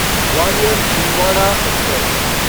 Gwalior Chhindwara express